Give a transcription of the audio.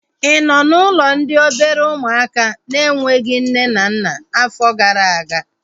Ị nọ n'ụlọ ndị obere ụmụaka na-enweghị nne na nna afọ gara aga?